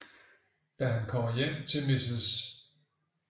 Da han kommer hjem til Mrs